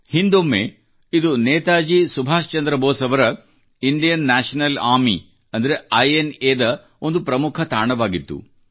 ಹಿಂದೊಮ್ಮೆ ಇದು ನೇತಾಜಿ ಸುಭಾಷ್ ಚಂದ್ರ ಬೋಸ್ ಅವರ ಇಂಡಿಯನ್ ನ್ಯಾಷನಲ್ ಆರ್ಮಿ ಅಂದರೆ ಐ ಎನ್ ಎ ಯ ಒಂದು ಪ್ರಮುಖ ತಾಣವಾಗಿತ್ತು